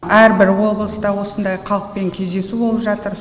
әрбір облыста осындай халықпен кездесу болып жатыр